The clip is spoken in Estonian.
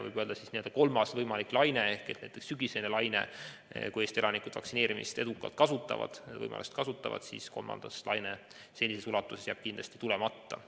Võib öelda, et kolmas võimalik laine ehk sügisene laine jääb juhul, kui Eesti elanikud vaktsineerimise võimalust edukalt kasutavad, senises ulatuses kindlasti tulemata.